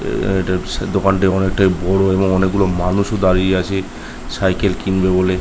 আ ও দোকানটি অনেক বড়। অনেকগুলো মানুষও দাঁড়িয়ে আছে সাইকেল কিনবে বলে।